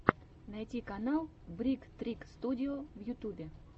найти канал брик трик студио в ютюбе